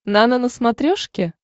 нано на смотрешке